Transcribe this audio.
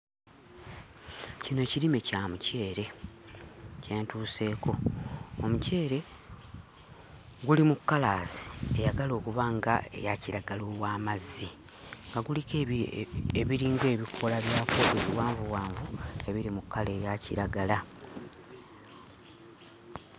Kino ekirime kya muceere kye ntuuseeko. Omuceere guli mu 'colors' eyagala okuba ng'eya kiragala ow'amazzi, nga guliko ebiringa ebikoola byakwo ebiwanvuwanvu ebiri mu kkala eya kiragala.